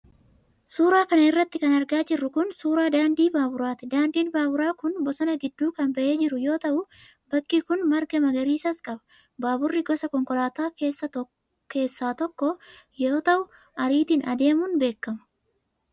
Suura kana irratti kan argaa jirru kun, suura daandii baaburaati. Daandiin baaburaa kun bosona gidduu kan bahee jiru yoo ta'u, bakki kun marga magariisas qaba. Baaburri gosa konkolaataa keessaa tokko yoo ta'u, ariitiin adeemun beekama.